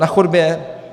Na chodbě?